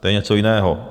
To je něco jiného.